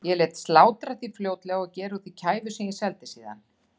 Ég lét slátra því fljótlega og gera úr því kæfu sem ég seldi síðan.